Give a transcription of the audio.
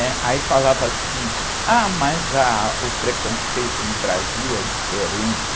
né? Aí falava assim, ah, mas, ah, o preconceito no Brasil é diferente.